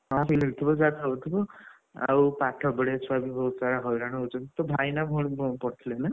ହଁ electric bill ଯାହା ନଉଥିବ breath ଆଉ ପାଠ ପଢିଆ ଛୁଆ କିନ୍ତୁ ବହୁତ ସାରା ହଇରାଣ ହଉଛନ୍ତି, ତୋଭାଇ ନାଭଉଣୀ କଣପଢୁଥିଲେ ନା?